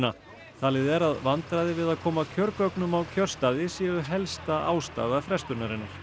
talið er að vandræði við að koma kjörgögnum á kjörstaði séu helsta ástæða frestunarinnar